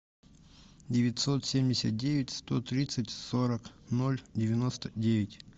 девятьсот семьдесят девять сто тридцать сорок ноль девяносто девять